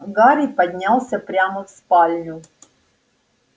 гарри поднялся прямо в спальню